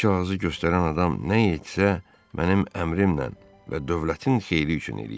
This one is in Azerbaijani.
Bu kağızı göstərən adam nə etsə, mənim əmrimlə və dövlətin xeyri üçün eləyir.